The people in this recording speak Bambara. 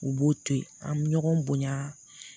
U b'o to yen an mi ɲɔgɔn bonya